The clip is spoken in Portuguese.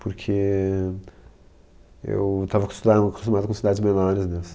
Porque eu estava acosta, acostumado com cidades menores né assim